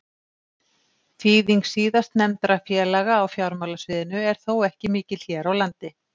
Þýðing síðastnefndra félaga á fjármálasviðinu er þó ekki mikil hér á landi.